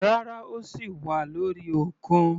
Rárá, ó sì wà lórí òkun.